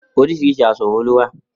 Orísirìsi asọ ló wà.